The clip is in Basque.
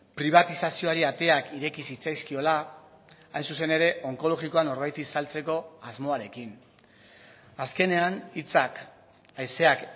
pribatizazioari ateak ireki zitzaizkiola hain zuzen ere onkologikoa norbaiti saltzeko asmoarekin azkenean hitzak haizeak